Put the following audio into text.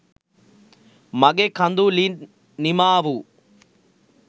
මගෙ කඳුළින් නිමාවූ